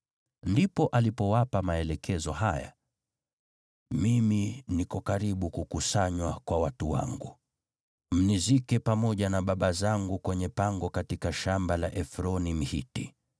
Ndipo alipowapa maelekezo haya: “Mimi niko karibu kukusanywa kwa watu wangu. Mnizike pamoja na baba zangu kwenye pango katika shamba la Efroni, Mhiti,